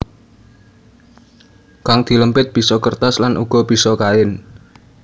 Kang dilempit bisa kertas lan uga bisa kain